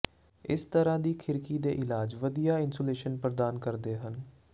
ਇਸ ਤਰ੍ਹਾਂ ਦੀ ਖਿੜਕੀ ਦੇ ਇਲਾਜ ਵਧੀਆ ਇਨਸੂਲੇਸ਼ਨ ਪ੍ਰਦਾਨ ਕਰਦੇ ਹਨ